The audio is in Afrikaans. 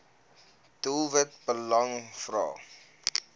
doelwit lang vrae